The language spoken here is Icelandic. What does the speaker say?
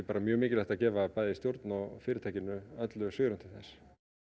bara mjög mikilvægt að gefa bæði stjórn og fyrirtækinu öllu svigrúm til þess